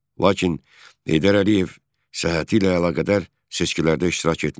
Lakin Heydər Əliyev səhhəti ilə əlaqədar seçkilərdə iştirak etmədi.